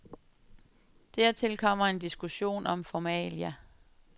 Dertil kommer en diskussion om formalia.